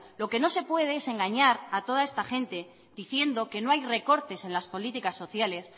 lo que no se puede es engañar a toda esta gente diciendo que no hay recortes en las políticas sociales